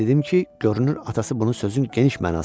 Və dedim ki, görünür atası bunu sözün geniş mənasında deyibmiş.